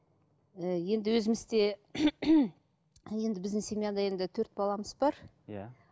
ііі енді өзімізде енді біздің семьяда енді төрт баламыз бар иә